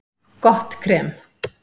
Gott krem